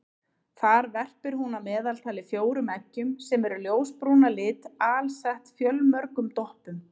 Þar verpir hún að meðaltali fjórum eggjum sem eru ljósbrún að lit alsett fjölmörgum doppum.